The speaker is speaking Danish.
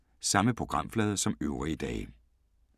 Samme programflade som øvrige dage